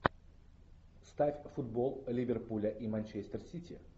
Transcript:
ставь футбол ливерпуля и манчестер сити